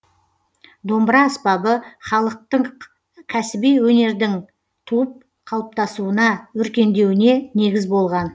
домбыра аспабы халықтық кәсіби өнердің туып қалыптасуына өркендеуіне негіз болған